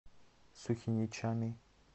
сухиничами